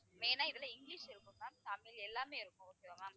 main ஆ இதுல English இருக்கும் ma'am. தமிழ் எல்லாமே இருக்கும் okay வா ma'am